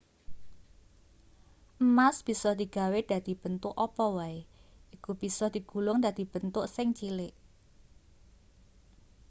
emas bisa digawe dadi bentuk apa wae iku bisa digulung dadi bentuk sing cilik